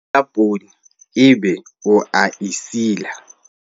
ebola poone ebe o a e sila